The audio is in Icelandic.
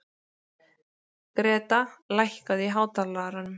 Greta, lækkaðu í hátalaranum.